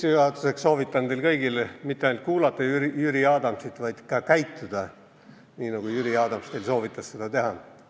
Sissejuhatuseks soovitan teil kõigil mitte ainult kuulata Jüri Adamsit, vaid ka toimida nii, nagu Jüri Adams soovitas teil teha.